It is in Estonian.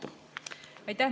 Aitäh!